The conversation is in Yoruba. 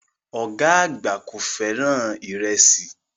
Ọ̀gá àgbà kò fẹ́ràn ìrẹsì